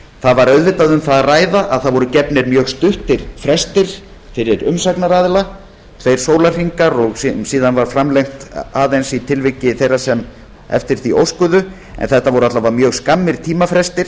það var auðvitað um það að ræða að mjög stuttir frestir voru gefnir fyrir umsagnaraðila tveir sólarhringar og síðan var aðeins framlengt í tilviki þeirra sem eftir því óskuðu en tímafrestirnir voru samt skammir